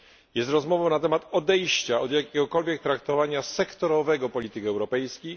Jest rozmową na temat odejścia od jakiegokolwiek traktowania sektorowego polityk europejskich.